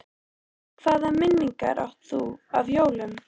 Hvaða minningar átt þú af jólum?